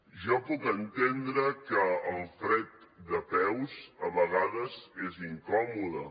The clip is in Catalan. jo puc entendre que el fred de peus a vegades és incòmode